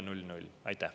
Aitäh!